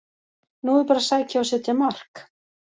Nú er bara að sækja og setja mark!